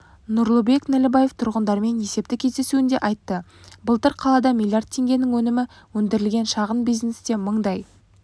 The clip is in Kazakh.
нұрлыбек нәлібаев тұрғындармен есепті кездесуінде айтты былтыр қалада млрд теңгенің өнімі өндірілген шағын бизнесте мыңдай